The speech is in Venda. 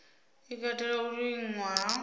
i katela u liṅwa ha